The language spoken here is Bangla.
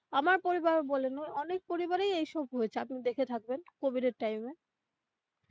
আমার পরিবার ও বলেন অনেক পরিবারেই এই সব হয়েছে আপনি দেখে থাকবেন কোভিড এর time এ.